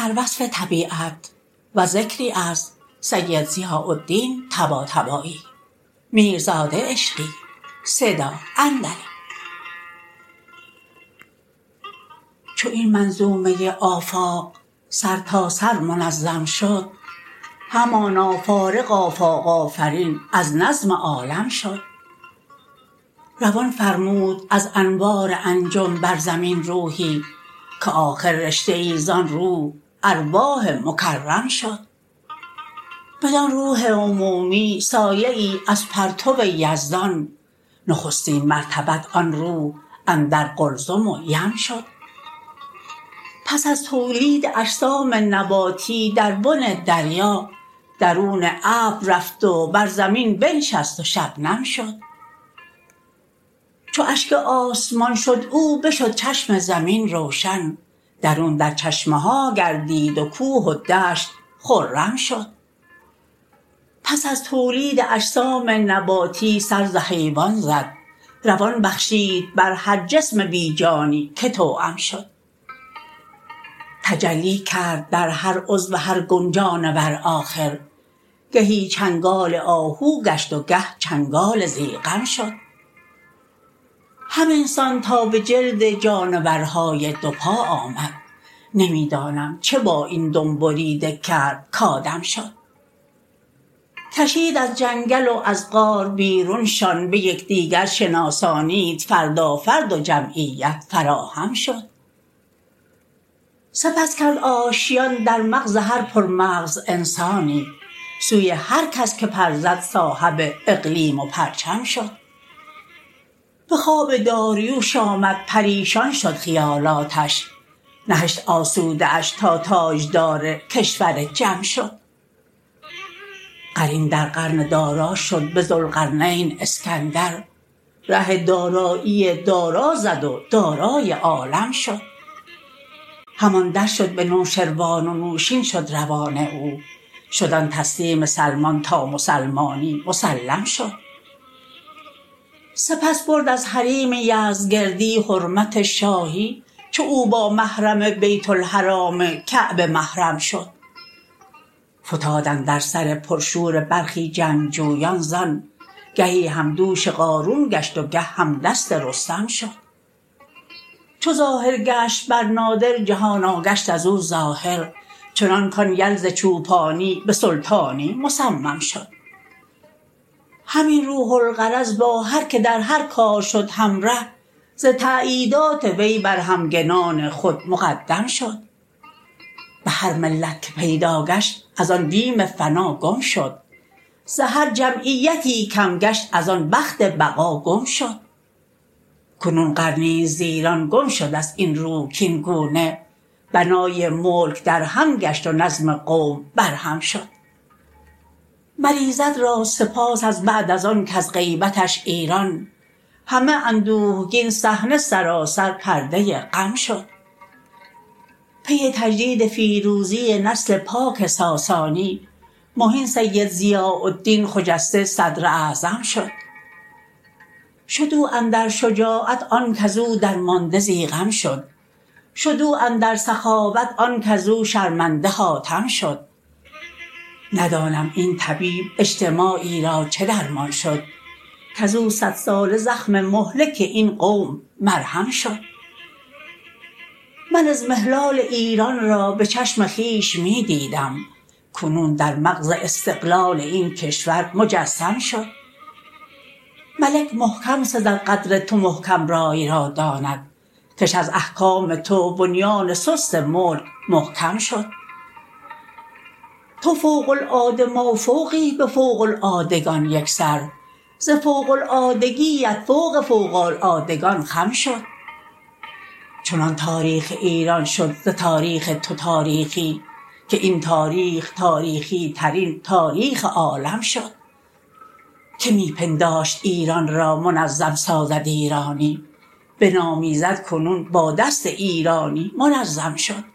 چو این منظومه آفاق سرتاسر منظم شد همانا فارغ آفاق آفرین از نظم عالم شد روان فرمود از انوار أنجم بر زمین روحی که آخر رشته ای زان روح ارواح مکرم شد بدان روح عمومی سایه ای از پرتو یزدان نخستین مرتبت آن روح اندر قلزم و یم شد پس از تولید اجسام نباتی در بن دریا درون ابر رفت و بر زمین بنشست و شبنم شد چو اشک آسمان شد او بشد چشم زمین روشن درون در چشمه ها گردید و کوه و دشت خرم شد پس از تولید اجسام نباتی سر ز حیوان زد روان بخشید بر هر جسم بی جانی که توأم شد تجلی کرد در هر عضو هر گون جانور آخر گهی چنگال آهو گشت و گه چنگال ضیغم شد همین سان تا به جلد جانورها دو پا آمد نمی دانم چه با این دم بریده کرد کآدم شد کشید از جنگل و از غار بیرونشان به یکدیگر شناسانید فردا فرد و جمعیت فراهم شد سپس کرد آشیان در مغز هر پرمغز انسانی سوی هرکس که پر زد صاحب اقلیم و پرچم شد به خواب داریوش آمد پریشان شد خیالاتش نه هشت آسوده اش تا تاجدار کشور جم شد قرین در قرن دارا شد به ذوالقرنین اسکندر ره دارایی دارا زد و دارای عالم شد هم آن در شد به نوشروان و نوشین شد روان او شد آن تسلیم سلمان تا مسلمانی مسلم شد سپس برد از حریم یزدگردی حرمت شاهی چو او با محرم بیت الحرام کعبه محرم شد فتاد اندر سر پرشور برخی جنگجویان زان گهی همدوش قارون گشت و گه هم دست رستم شد چو ظاهر گشت بر نادر جهانا گشت از او ظاهر چنان کان یل ز چوپانی به سلطانی مصمم شد همین روح الغرض با هرکه در هر کار شد همره ز تأییدات وی بر همگنان خود مقدم شد به هر ملت که پیدا گشت از آن بیم فنا گم شد ز هر جمعیتی کم گشت از آن بخت بقا گم شد کنون قرنی ست ز ایران گم شدست این روح کاین گونه بنای ملک در هم گشت و نظم قوم بر هم شد مر ایزد را سپاس از بعد از آن کز غیبتش ایران همه اندوهگین صحنه سراسر پرده غم شد پی تجدید فیروزی نسل پاک ساسانی مهین سید ضیاء الدین خجسته صدر اعظم شد شد او اندر شجاعت آن کزو درمانده ضیغم شد شد او اندر سخاوت آن کزو شرمنده حاتم شد ندانم این طبیب اجتماعی را چه درمان شد کزو صد ساله زخم مهلک این قوم مرهم شد من اضمحلال ایران را به چشم خویش می دیدم کنون در مغز استقلال این کشور مجسم شد ملک محکم سزد قدر تو محکم رای را داند کش از احکام تو بنیان سست ملک محکم شد تو فوق العاده مافوقی به فوق العادگان یکسر ز فوق العادگی ات فوق فوق العادگان خم شد چنان تاریخ ایران شد ز تاریخ تو تاریخی که این تاریخ تاریخی ترین تاریخ عالم شد که می پنداشت ایران را منظم سازد ایرانی به نام ایزد کنون با دست ایرانی منظم شد